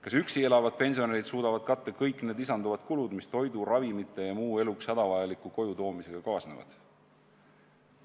Kas üksi elavad pensionärid suudavad katta kõik need lisanduvad kulud, mis toidu, ravimite ja muu eluks hädavajaliku koju toomisega kaasnevad?